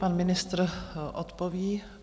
Pan ministr odpoví.